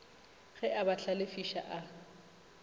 ge a ba hlalefiša a